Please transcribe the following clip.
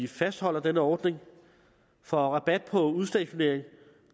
fastholder denne ordning for rabat på udstationering